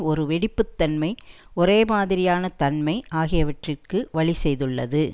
ஒரு வெடிப்பு தன்மை ஒரே மாதிரியான தன்மை ஆகியவற்றிற்கு வழி செய்துள்ளது